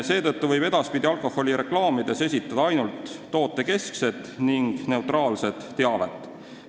Seetõttu võib edaspidi alkoholireklaamides esitada ainult tootekeskset ning neutraalset teavet.